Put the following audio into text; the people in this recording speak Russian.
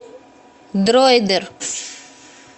дройдер